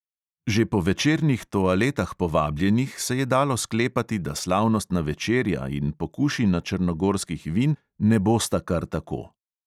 Že po večernih toaletah povabljenih se je dalo sklepati, da slavnostna večerja in pokušina črnogorskih vin ne bosta kar tako.